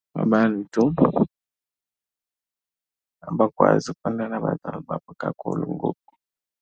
Abantu abakwazi nabantwana babo kakhulu ngoku.